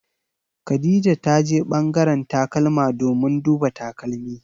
Khadija ta je ɓangaren takalma domin duba takalmi.